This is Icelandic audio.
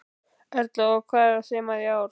Erla: Og hvað er þemað í ár?